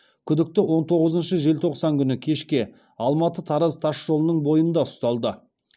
күдікті он тоғызыншы желтоқсан күні кешке алматы тараз тас жолының бойында ұсталды